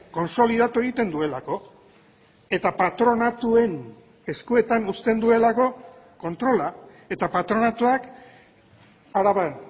kontsolidatu egiten duelako eta patronatuen eskuetan uzten duelako kontrola eta patronatuak araban